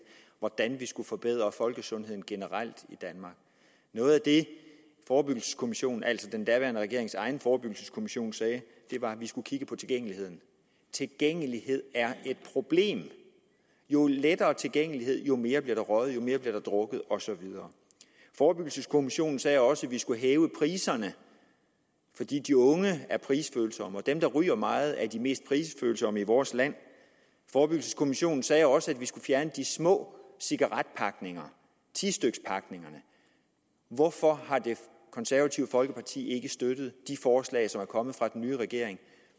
hvordan vi skulle forbedre folkesundheden generelt i danmark noget af det forebyggelseskommissionen altså den daværende regerings egen forebyggelseskommission sagde var at vi skulle kigge på tilgængeligheden tilgængelighed er et problem jo lettere tilgængelighed jo mere bliver der røget jo mere bliver der drukket og så videre forebyggelseskommissionen sagde også at vi skulle hæve priserne fordi de unge er prisfølsomme og fordi dem der ryger meget er de mest prisfølsomme i vores land forebyggelseskommissionen sagde også at vi skulle fjerne de små cigaretpakninger tistykspakkerne hvorfor har det konservative folkeparti ikke støttet de forslag som er kommet fra den nye regering